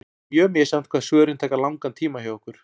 Það er mjög misjafnt hvað svörin taka langan tíma hjá okkur.